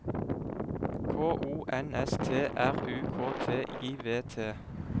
K O N S T R U K T I V T